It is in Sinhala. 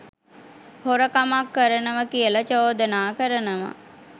හොරකමක් කරනව කියල චෝදනා කරනව